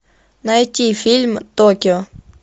найти фильм токио